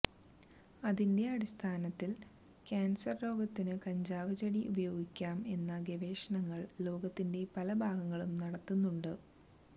അതിന്റെ അടിസ്ഥാനത്തില് കാന്സര് രോഗത്തിന് കഞ്ചാവ് ചെടി ഉപയോഗിക്കാം എന്ന ഗവേഷണങ്ങള് ലോകത്തിന്റെ പല ഭാഗങ്ങളിലും നടക്കുന്നുണ്ട്